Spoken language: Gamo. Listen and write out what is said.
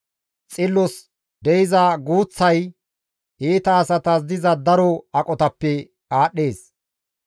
Xillos de7iza guuththay iita asatas diza daro aqotappe aadhdhees.